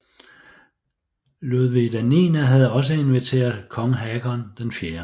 Ludvig IX havde også inviteret kong Håkon 4